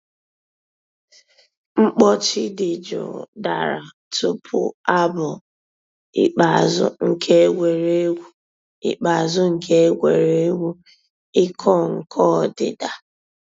Mkpọ̀chì dì jụụ̀ dàrā túpù àbụ̀ ikpeazụ̀ nke ègwè́régwụ̀ ikpeazụ̀ nke ègwè́régwụ̀ ị̀kọ̀ nkọ̀ òdídà.